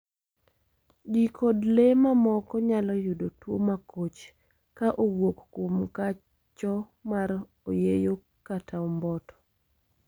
Ji kod le mamoko nyalo yudo tuo makoch ka owuok kuom kacho mar oyeyo kaka omboto